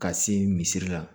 Ka se misiri la